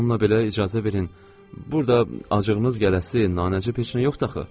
Amma bununla belə icazə verin, burada acığınız gələsi nanəcib peşə yoxdur axı.